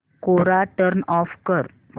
कोरा turn off कर